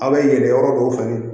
A bɛ yɛlɛ yɔrɔ dɔw fɛ